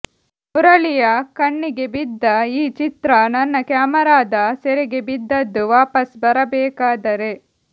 ಮುರಳಿಯ ಕಣ್ಣಿಗೆ ಬಿದ್ದ ಈ ಚಿತ್ರ ನನ್ನ ಕ್ಯಾಮರಾದ ಸೆರೆಗೆ ಬಿದ್ದದ್ದು ವಾಪಸ್ ಬರಬೇಕಾದರೆ